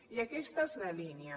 i aquesta és la línia